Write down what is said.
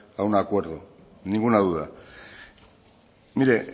a un acuerdo ninguna duda mire